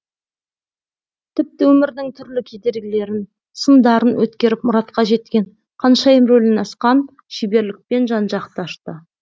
тіпті өмірдің түрлі кедергілерін сындарын өткеріп мұратқа жеткен ханшайым рөлін асқан шеберлікпен жан жақты ашты